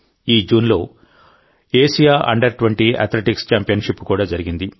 ఈ జూన్లో Asia under twenty athletics championship కూడా జరిగింది